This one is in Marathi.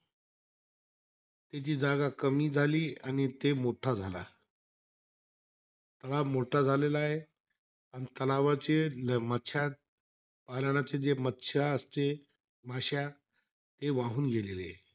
ती जागा कमी झाली आणि ते मोठा झाला. तलाव मोठा झालेलायं. अन तलावाचे मच्छया पालनाचे, जे मच्छया असते, माश्या ते वाहून गेलेले आहे.